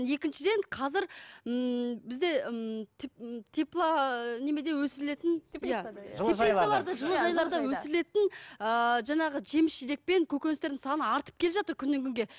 екіншіден қазір ммм бізде ммм тепло немеде өсірілетін жылыжайларды өсірілетін ыыы жаңағы жеміс жидек пен көкөністердің саны артып келе жатыр күннен күнге